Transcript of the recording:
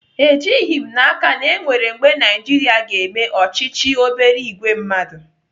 Ejighị m n'aka na enwere mgbe Naijiria ga-eme ọchịchị obere ìgwè mmadụ.